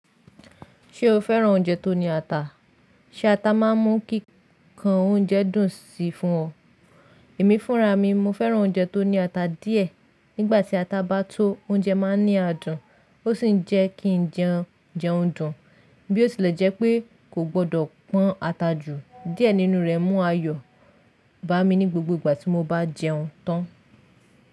Ṣé o fẹ́ràn oúnjẹ tó ní ata? Ṣé ata máa ń mú kí kan oúnjẹ dùn sí fún ọ? Èmi fúnra mi, mo fẹ́ràn oúnjẹ tó ní ata díẹ̀. Nígbà tí ata bá tó, oúnjẹ máa ní adùn, ó ṣì ń jẹ́ kí jẹun jẹun dùn. Bí ó tilẹ̀ jẹ́ pé kò gbọdọ̀ pọn ata jù, díẹ̀ nínú rẹ̀ mú ayọ̀ bá mi ní gbogbo ìgbà tí mo bá jẹun tán.